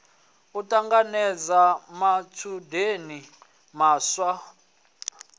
u ṱanganedza matshudeni maswa ḓi